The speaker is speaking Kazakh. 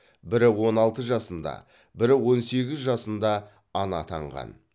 бірі он алты жасында бірі он сегіз жасында ана атанған